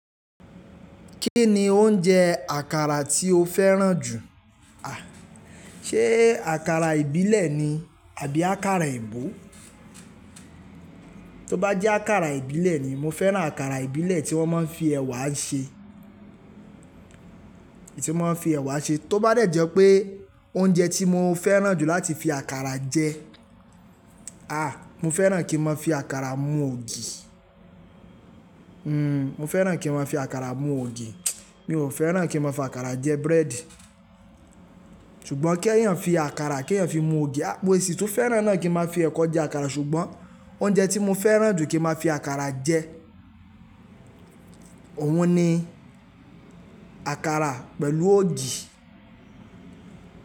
Kí ni oúnjẹ àkàrà tí o fẹ́ràn jù? À, ṣe àkàrà ìbílẹ̀ ni àbí àkàrà eebo? Tí ó bá jẹ́ àkàrà ìbílẹ̀ ni, mo fẹ́ràn àkàrà ìbílẹ̀ tí wọ́n máa ń fi ẹ̀wà ṣe, tí wọ́n máa ń fi ẹ̀wà ṣe. Tó bá dẹ̀ jẹ́ pé oúnjẹ tí mo fẹ́ràn jù láti fi àkàrà jẹ, à, mo fẹ́ràn kí n máa fi àkàrà mu ògì. Hmm, mo fẹ́ràn kí n máa fi àkàrà mu ògì. Mi ò fẹ́ràn kí n máa fi àkàrà jẹ búrẹ́dì. Ṣùgbọ́n kí eeyàn fi àkàrà, kí eeyàn fi mu ògì, mo si tun fẹ́ràn náà kí n máa fi ẹ̀kọ jẹ àkàrà, ṣùgbọ́n oúnjẹ tí mo fẹ́ràn jù kí n máa fi àkàrà jẹ, òun ni àkàrà pẹ̀lú ògì.